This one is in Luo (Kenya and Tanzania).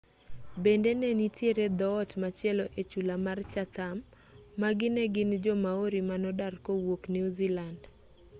bende ne nitiere dhoot machielo e chula mar chatham magi ne gin jo-maori manodar kowuok new zealand